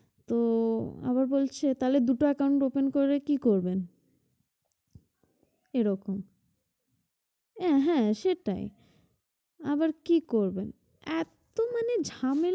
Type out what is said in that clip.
তো আবার বলছে তাহলে দুটো account open করে রেখে কি করবেন? এরকম আহ হ্যাঁ সেটাই আবার কি করবেন? একেবারে ঝামেলা